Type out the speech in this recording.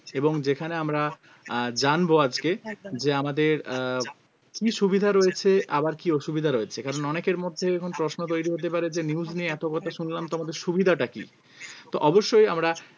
এবং যেখানে আমরা আহ জানবো আজকে যে আমাদের আহ কি সুবিধা রয়েছে আবার কি অসুবিধা রয়েছে কারণ এখন অনেকের মধ্যে প্রশ্ন তৈরি হতে পারে যে news নিয়ে এত কথা শুনলাম তো আমাদের সুবিধাটা কি তো অবশ্যই আমরা